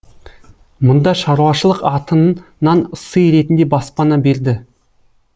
мұнда шаруашылық аты нан сый ретінде баспана берді